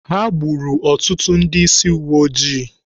Ha gburu ọtụtụ ndị ísí uweojii.